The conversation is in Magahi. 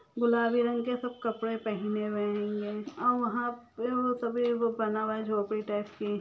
गुलाबी रंग के सब कपड़े पेनहेन वे हेंगे और वह पे बना हूआ है झोपड़ी टाइप की --